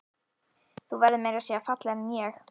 Þú verður meira að segja fallegri en ég.